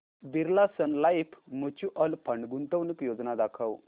Birla Sun Life mutual fund गुंतवणूक योजना दाखव